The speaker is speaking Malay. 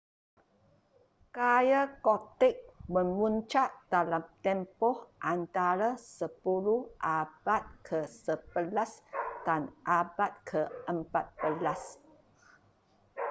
gaya gothic memuncak dalam tempoh antara 10 - abad ke-11 dan abad ke-14